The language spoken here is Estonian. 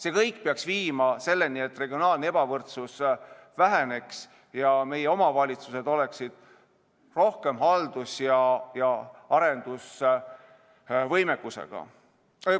See kõik peaks viima selleni, et regionaalne ebavõrdsus väheneks ja meie omavalitsused oleksid suurema haldus- ja arendusvõimekusega.